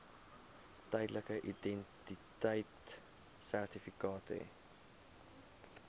tydelike identiteitsertifikaat hê